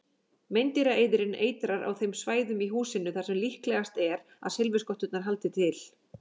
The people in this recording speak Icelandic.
Meindýraeyðirinn eitrar á þeim svæðum í húsinu þar sem líklegast er að silfurskotturnar haldi til.